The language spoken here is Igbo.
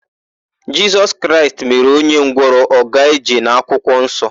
Jisọs Kraịst mere ọnye ngwọrọ ọ gaa ije n'akwụkwọnsọ.